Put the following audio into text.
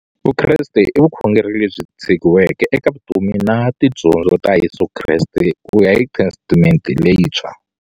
Vukreste i vukhongeri lebyi tshegiweke eka vutomi na tidyondzo ta Yesu Kreste kuya hi Testamente leyintshwa.